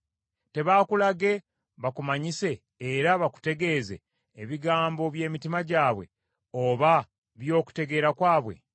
Tebaakulage bakumanyise era bakutegeeze ebigambo bye mitima gyabwe oba by’okutegeera kwabwe?